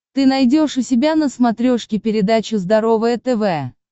ты найдешь у себя на смотрешке передачу здоровое тв